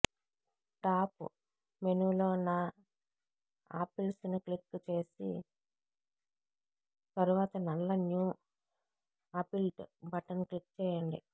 top మెనూలో నా ఆపిల్స్ను క్లిక్ చేసి తరువాత నల్ల న్యూ ఆపిల్ట్ బటన్ క్లిక్ చేయండి